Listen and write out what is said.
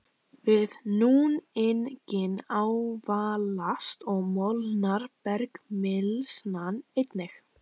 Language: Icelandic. Við núninginn ávalast og molnar bergmylsnan einnig.